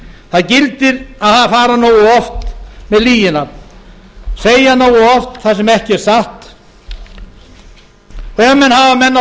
það gildir að fara nógu oft með lögin segja nógu oft það sem ekki er satt og ef menn hafa menn á